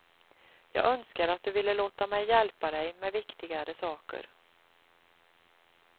Jag önskar att du ville låta mig hjälpa dig med viktigare saker.